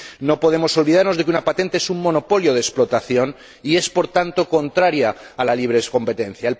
No podemos olvidarnos de que una patente es un monopolio de explotación y es, por tanto, contraria a la libre competencia.